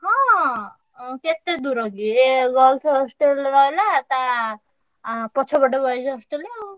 ହଁ ଉଁ କେତେ ଦୂର କି ଏ girls hostel ବା ହେଲା ତା ଆଁ ପଛପଟେ boys hostel ଆଉ।